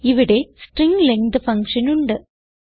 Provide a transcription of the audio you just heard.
ഇവിടെ string length function ഉണ്ട്